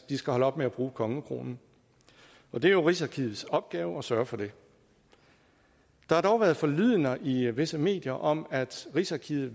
de skal holde op med bruge kongekronen og det er jo rigsarkivets opgave at sørge for det der har dog været forlydender i visse medier om at rigsarkivet